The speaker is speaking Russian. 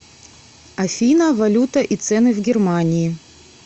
афина валюта и цены в германии